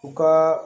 U ka